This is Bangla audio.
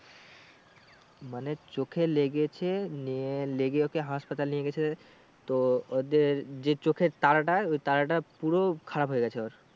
মানে চোখে লেগেছে নিয়ে লেগে ওকে হাসপাতালে নিয়ে গেছে তো ওদের যে চোখের তারাটা ওই তারাটা পুরো খারাপ হয়ে গেছে ওর।